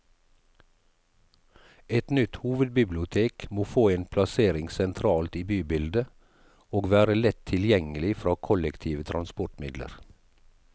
Et nytt hovedbibliotek må få en plassering sentralt i bybildet, og være lett tilgjengelig fra kollektive transportmidler.